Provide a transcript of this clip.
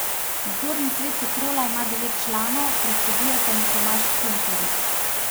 Nadzorni svet Petrola ima devet članov, predseduje pa mu Tomaž Kuntarič.